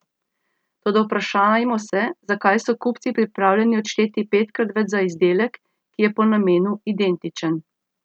Toda vprašajmo se, zakaj so kupci pripravljeni odšteti petkrat več za izdelek, ki je po namenu identičen.